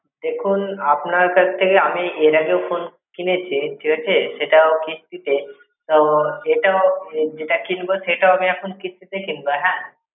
দেখুন, আপনার কাছ থেকে আমি এর আগেও phone কিনেছি ঠিক আছে সেটাও কিস্তিতে, তো এটাও যেটা কিনবো সেটাও আমি এখন কিস্তিতে কিনবো হ্যাঁ?